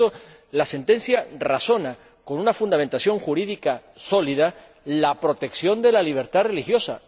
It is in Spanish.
Por tanto, la sentencia razona, con una fundamentación jurídica sólida, la protección de la libertad religiosa.